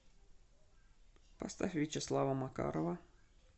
поставь вячеслава макарова